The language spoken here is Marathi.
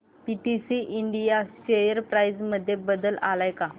पीटीसी इंडिया शेअर प्राइस मध्ये बदल आलाय का